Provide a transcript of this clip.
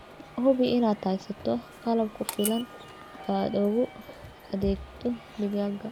Hubi inaad haysato qalab ku filan oo aad ugu adeegto digaagga.